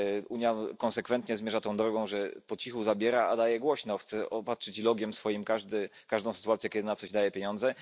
Unia konsekwentnie zmierza tą drogą, że po cichu zabiera, a daje głośno, chce obarczyć logo swoim każdą sytuację, kiedy na coś daje pieniądze.